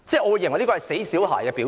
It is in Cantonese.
我認為這是"死小孩"的表現。